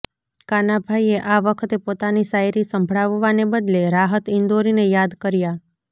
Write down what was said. કાનાભાઈએ આ વખતે પોતાની શાયરી સંભળાવવાને બદલે રાહત ઇંદોરીને યાદ કર્યા